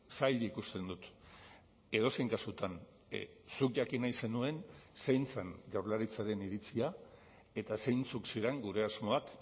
zail ikusten dut edozein kasutan zuk jakin nahi zenuen zein zen jaurlaritzaren iritzia eta zeintzuk ziren gure asmoak